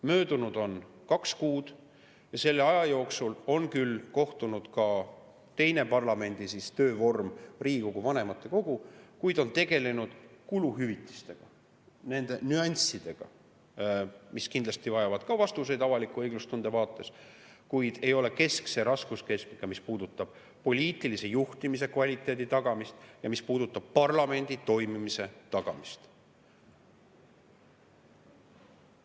Möödunud on kaks kuud ja selle aja jooksul on küll kohtunud ka teine parlamendi töökogu, Riigikogu vanematekogu, kuid siis on tegeletud kuluhüvitiste nüanssidega, mis kindlasti vajavad ka vastuseid avaliku õiglustunde vaates, kuid need ei ole keskse raskuskeskmega, kui asi puudutab poliitilise juhtimise kvaliteedi tagamist ja parlamendi toimimise tagamist.